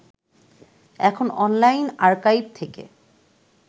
এখন online archive থেকে